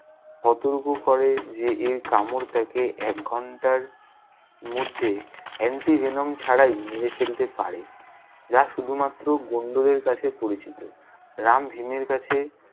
সতর্ক করে যে এই কামড় তাকে এক ঘন্টার, মধ্যে anti-venom ছাড়াই মেরে ফেলতে পারে। যা শুধু মাত্র গোন্ডদের কাছে পরিচিত। রাম ভীমের কাছে-